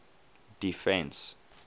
defence